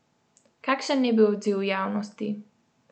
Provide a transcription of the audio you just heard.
Kakšen je bil odziv javnosti?